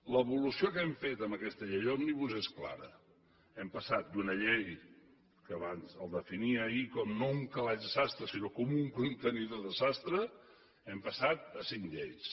l’evolució que hem fet amb aquesta llei òmnibus és clara hem passat d’una llei que el definia ahir no com un calaix de sastre sinó com un contenidor de sastre hem passat a cinc lleis